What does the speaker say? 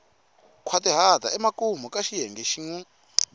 nkhwatihata emakumu ka xiyenge xin